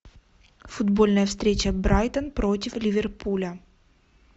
футбольная встреча брайтон против ливерпуля